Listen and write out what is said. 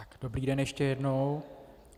Dobrý den ještě jednou.